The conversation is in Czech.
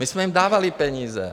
My jsme jim dávali peníze.